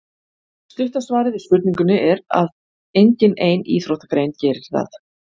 Stutta svarið við spurningunni er að engin ein íþróttagrein gerir það.